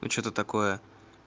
что-то такое